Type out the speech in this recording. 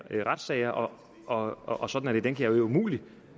retssager og og sådan er det den kan jeg umuligt